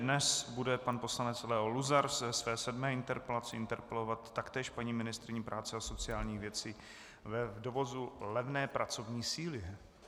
Dnes bude pan poslanec Leo Luzar ze své sedmé interpelace interpelovat taktéž paní ministryni práce a sociálních věcí v dovozu levné pracovní síly.